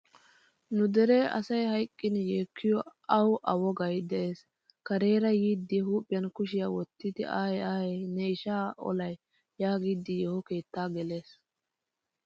Nu dere asay hayqqin yeekiyo awu a wogaay de'ees. Karera yiidi huuphphiyaan kushiyaa wottidi aye aye ne isha olay yaagidi yeeho keettaa gelees.